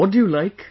What do you like